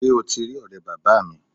Sé o ti rí òré bàbáa mi?